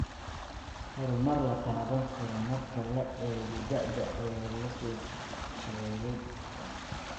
Horumar la taaban karo marka la eego da'da ayaa la soo sheegay.